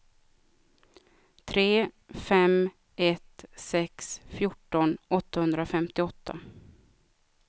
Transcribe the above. tre fem ett sex fjorton åttahundrafemtioåtta